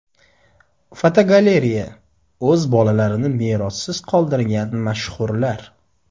Fotogalereya: O‘z bolalarini merossiz qoldirgan mashhurlar.